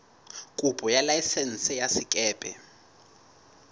kopo ya laesense ya sekepe